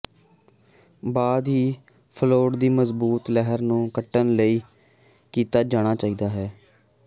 ਬਾਅਦ ਹੀ ਫਲੋਟ ਦੀ ਮਜ਼ਬੂਤ ਲਹਿਰ ਨੂੰ ਕੱਟਣ ਲਈ ਕੀਤਾ ਜਾਣਾ ਚਾਹੀਦਾ ਹੈ